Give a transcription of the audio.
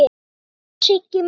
Já, já, Siggi minn.